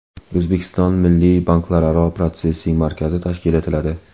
O‘zbekistonda Milliy banklararo protsessing markazi tashkil etiladi.